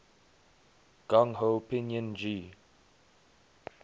gung ho pinyin g